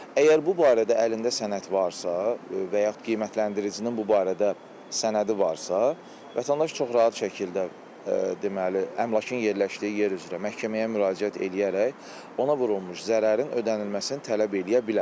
Əgər bu barədə əlində sənəd varsa, və yaxud qiymətləndiricinin bu barədə sənədi varsa, vətəndaş çox rahat şəkildə deməli, əmlakın yerləşdiyi yer üzrə məhkəməyə müraciət eləyərək ona vurulmuş zərərin ödənilməsini tələb eləyə bilər.